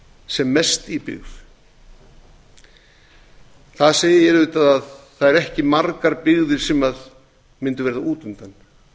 sem mest í byggð það segir auðvitað að það eru ekki margar byggðir sem yrðu út undan það yrði